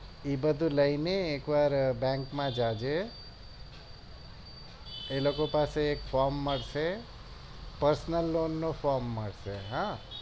એ બધું લઈને એક વાર bank માં જજે એ લોકો પાસે એક frome મળશે personal lone નું frome મળશે